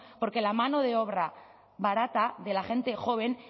porque la mano de obra barata de la gente joven